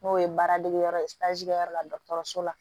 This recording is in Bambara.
N'o ye baara degeyɔrɔ ye yɔrɔ la dɔgɔtɔrɔso la